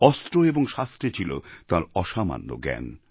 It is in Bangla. অস্ত্র এবং শাস্ত্রে ছিল তাঁর অসামান্য জ্ঞান